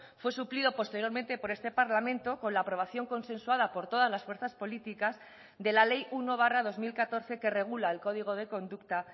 fue suplido posteriormente por este parlamento con la aprobación consensuada por todas las fuerzas políticas de la ley uno barra dos mil catorce que regula el código de conducta